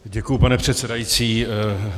Děkuji, pane předsedající.